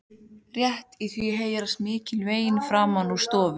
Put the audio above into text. Rétt í því heyrast mikil vein framan úr stofu.